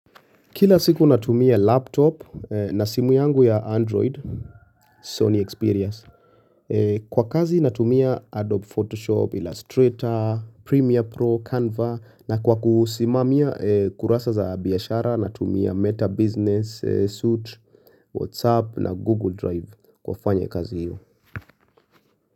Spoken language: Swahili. Kila siku natumia laptop na simu yangu ya android Sony experience Kwa kazi natumia Adobe Photoshop, Illustrator, Premiere Pro, Canva na kwa kusimamia kurasa za biashara natumia Meta Business, Suite, WhatsApp na Google Drive kwa fanya kazi hiyo.